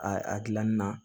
A a dilanni na